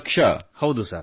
90 lakh